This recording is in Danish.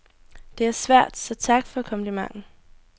Det er svært, så tak for komplimenten.